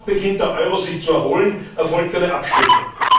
Kaum beginnt sich der Euro zu erholen, erfolgt eine Abstufung.